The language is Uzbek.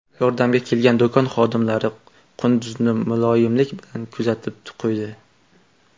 Yordamga kelgan do‘kon xodimlari qunduzni muloyimlik bilan kuzatib qo‘ydi.